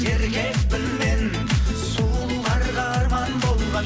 еркекпін мен сұлуларға арман болған